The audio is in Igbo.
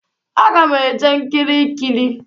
Aga m eje nkiri ikili.